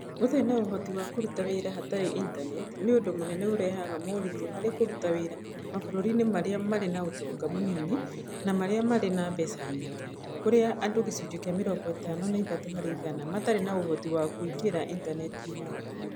Gũtarĩ na ũhoti wa kũruta wĩra hatarĩ Intaneti nĩ ũndũ mũnene ũrehaga moritũ harĩ kũruta wĩra mabũrũri-inĩ marĩa marĩ na ũtonga mũnini na marĩa marĩ na mbeca nyingĩ, kũrĩa andũ 53% matarĩ na ũhoti wa kũingĩra intaneti-inĩ.